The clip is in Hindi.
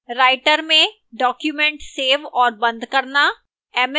writer में document सेव और बंद करना